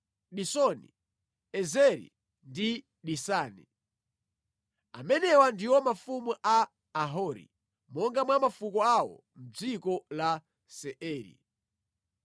Disoni, Ezeri ndi Disani. Amenewa ndiwo mafumu a Ahori, monga mwa mafuko awo, mʼdziko la Seiri.